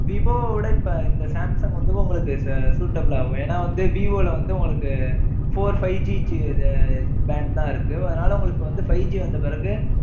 Vivo வை விட, இப்ப இந்த சாம்சங் வந்து, உங்களுக்கு suitable ஆகும். ஏன்னா வந்து, விவோல வந்து, உங்களுக்கு, four, five G இது, bank தான் இருக்கு. அதனால, உங்களுக்கு வந்து, five G வந்த பிறகு,